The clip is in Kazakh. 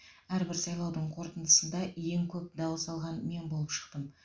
әрбір сайлаудың қорытындысында ең көп дауыс алған мен болып шықтым